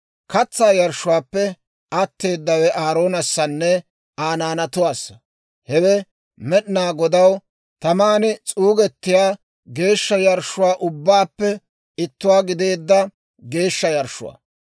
Katsaa yarshshuwaappe atteedawe Aaroonassanne Aa naanatuwaassa. Hewe Med'inaa Godaw taman s'uugettiyaa geeshsha yarshshuwaa ubbaappe ittuwaa gideedda geeshsha yarshshuwaa.